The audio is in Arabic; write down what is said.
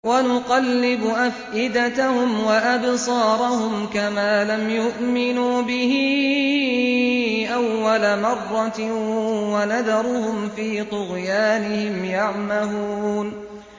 وَنُقَلِّبُ أَفْئِدَتَهُمْ وَأَبْصَارَهُمْ كَمَا لَمْ يُؤْمِنُوا بِهِ أَوَّلَ مَرَّةٍ وَنَذَرُهُمْ فِي طُغْيَانِهِمْ يَعْمَهُونَ